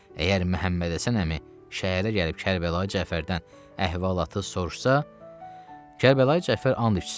Əgər Məhəmməd Həsən əmi şəhərə gəlib Kərbəlayı Cəfərdən əhvalatı soruşsa, Kərbəlayı Cəfər and içsin.